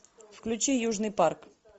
включи южный парк